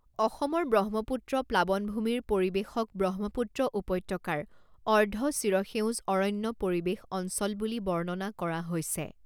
অসমৰ ব্ৰহ্মপুত্ৰ প্লাৱনভূমিৰ পৰিৱেশক ব্ৰহ্মপুত্ৰ উপত্যকাৰ অৰ্ধ চিৰসেউজ অৰণ্য পৰিৱেশ অঞ্চল বুলি বৰ্ণনা কৰা হৈছে।